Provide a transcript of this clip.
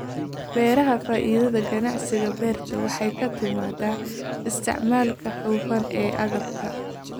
Beeraha Faa'iidada ganacsiga beertu waxay ka timaadaa isticmaalka hufan ee agabka.